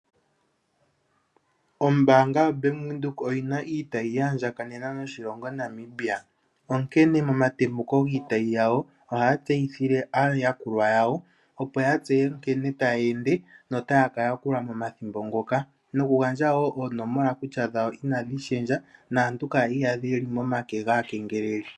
Ombaanga yoBank Windhoek oyi na iitayi yaandjakanena noshilongo Namibia, onkene momatembuko giitayi yawo ohaya tseyithile aayakulwa yawo opo ya tseye nkene taya ende notaya ka yakulwa momathimbo ngoka noku gandja wo oonomola kutya dhawo inadhi shendja naantu kaa ya iyadhe ye li momake gaakengeleli.